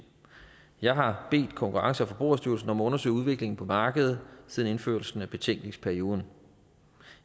jeg har bedt konkurrence og forbrugerstyrelsen om at undersøge udviklingen på markedet siden indførelsen af betænkningsperioden